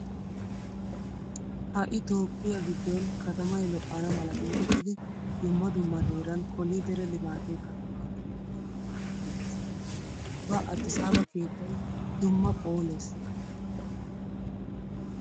Ha"i toophphiya giddon katamay lo'ana mala geetettidi dumma dumma heeran koolidere limaatee katamaa keehi puulayiiddi dees. Ubba aadisaaba keettay dumma phoolees.